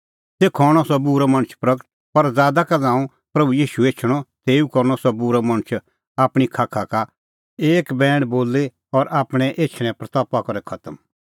तेखअ हणअ सह बूरअ मणछ प्रगट पर बादा का ज़ांऊं प्रभू ईशू एछणअ तेऊ करनअ सह बूरअ मणछ आपणीं खाखा का एक बैण बोली और आपणैं एछणें प्रतपा करै खतम